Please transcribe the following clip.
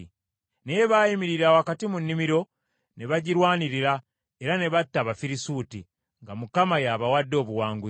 Naye baayimirira wakati mu nnimiro ne bagirwanirira, era ne batta Abafirisuuti, nga Mukama y’abawadde obuwanguzi.